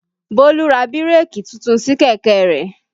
Bólú ra bírèkì titun sí kẹ̀kẹ́ rẹ̀